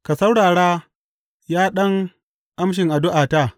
Ka saurara, ya ɗan amshin addu’ata!